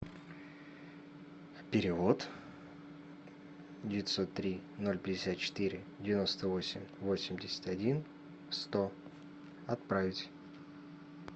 перевод девятьсот три ноль пятьдесят четыре девяносто восемь восемьдесят один сто отправить